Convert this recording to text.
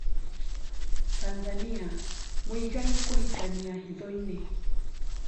Tanzania: Muigai kũhikania hithoinĩ.